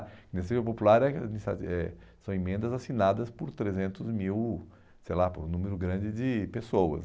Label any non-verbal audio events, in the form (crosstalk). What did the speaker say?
Iniciativa popular é (unintelligible) são emendas assinadas por trezentos mil, sei lá, por um número grande de pessoas.